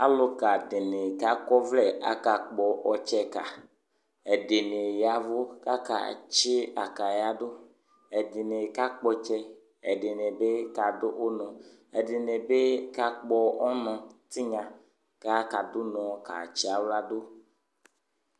Alʋka dɩnɩ kʋ akɔ ɔvlɛ akakpɔ ɔtsɛka Ɛdɩnɩ ya ɛvʋ kʋ akatsɩ akaya dʋ Ɛdɩnɩ kakpɔ ɔtsɛ, ɛdɩnɩ bɩ kadʋ ʋnɔ, ɛdɩnɩ bɩ kakpɔ ɔnɔ tɩnya kʋ akadʋ ʋnɔ katsɩ aɣla dʋ